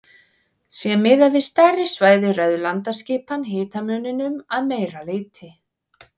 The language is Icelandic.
Sé miðað við stærri svæði ræður landaskipan hitamuninum að meira leyti.